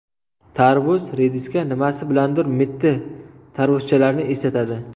Tarvuz rediska nimasi bilandir mitti tarvuzchalarni eslatadi.